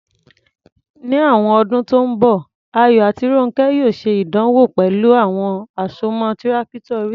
Ní àwọn ọdún tó ń bọ̀, Ayọ̀ àti Rónkẹ́ yóò ṣe ìdánwò pẹ̀lú àwọn àsomọ́ Tírákítọ̀ oríṣiríṣi.